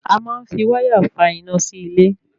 A máa ń fi wáyà fà iná sí ilé